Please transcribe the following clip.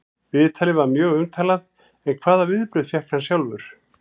Viðtalið var mjög umtalað en hvaða viðbrögð fékk hann sjálfur?